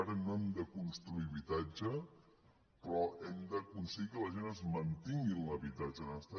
ara no hem de construir habitatge però hem d’aconseguir que la gent es mantingui en l’habitatge on està